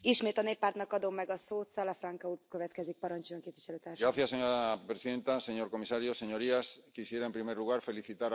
Señora presidenta, señor comisario, señorías, quisiera en primer lugar felicitar al ponente, señor Tannock, por la excelente Recomendación que presenta hoy al Pleno.